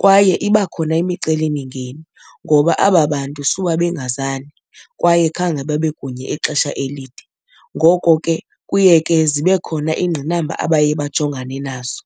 Kwaye iba khona imicelimingeni ngoba aba bantu suba bengazani kwaye khange babe kunye ixesha elide, ngoko ke kuye ke zibe khona iingqinamba abaye bajongane nazo.